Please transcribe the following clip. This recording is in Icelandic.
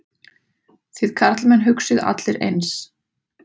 Þið karlmenn hugsið allir eins.